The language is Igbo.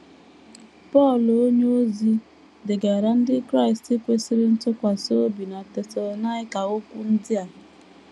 Pọl onyeozi degaara ndị Kraịst kwesịrị ntụkwasị obi bi na Tesalọnaịka okwu ndị a.